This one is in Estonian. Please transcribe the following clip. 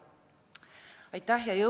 Aitäh!